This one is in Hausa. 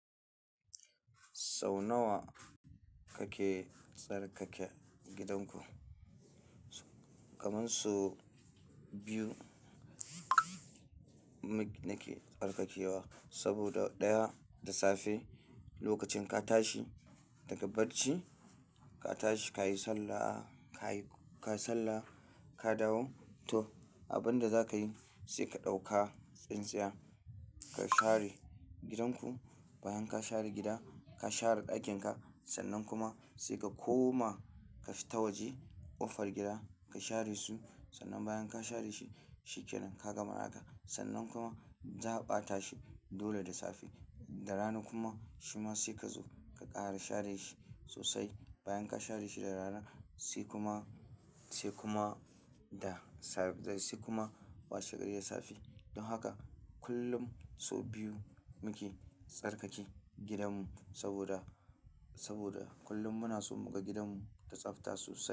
Sau nawa kabke tsarkake gidanku? Kamar sau biyu mu ke tsarkakewa saboda ɗaya, da safe lokacin ka tashi daga barci, ka tashi ka yi sallah, ka yi sallah, ka dawo toh abin da za ka yi sai ka ɗauka tsintsiya ka share gidanku. Bayan ka share gida, ka share ɗakinka sannan kuma sai ka koma ka fita waje ƙofar gida ka share su. Sannan bayan ka share shi shi kenan ka gama haka. Sannan kuma za a ɓata shi dole da safe. Da rana kuma shi ma sai ka zo ka ƙara share shi sosai. Bayan ka share shi da rana sai kuma, sai kuma da safe, sai kuma washegari da safe. Don haka kullum sau biyu mu ke tsarkake gidanmu saboda, saboda kullum mu na so mu ga gidanmu da tsafta sosai.